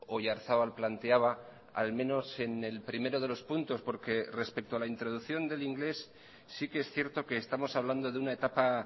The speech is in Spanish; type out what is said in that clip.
oyarzabal planteaba al menos en el primero de los puntos porque respecto a la introducción del inglés sí que es cierto que estamos hablando de una etapa